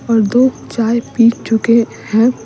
और दो चाय पी चुके हैं --